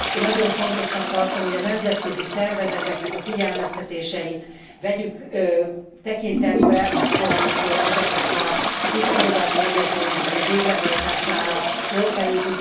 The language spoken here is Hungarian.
Nagyon fontosnak tartom, hogy a nemzetközi szervezeteknek a figyelmeztetéseit vegyük tekintetbe akkor amikor ezeknek a visszafogadási egyezményeknek a végrehajtására sor kerül.